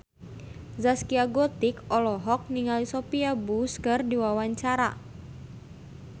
Zaskia Gotik olohok ningali Sophia Bush keur diwawancara